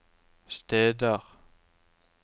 steder